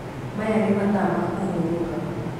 Maya ní mathaa ma kúhurúka